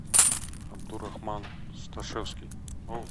абдурахман сташевский